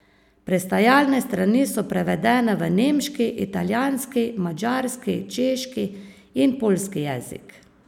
Pristajalne strani so prevedene v nemški, italijanski, madžarski, češki in poljski jezik.